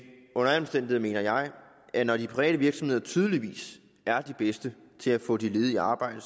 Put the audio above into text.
under alle omstændigheder mener jeg at når de private virksomheder tydeligvis er de bedste til at få de ledige i arbejde